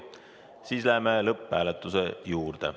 Siis läheme lõpphääletuse juurde.